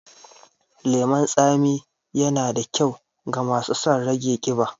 lemon tsami yana da kyau ga masu sun rage ƙiba.